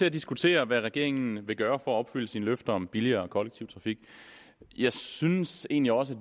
at diskutere hvad regeringen vil gøre for at opfylde sine løfter om billigere kollektiv trafik jeg synes egentlig også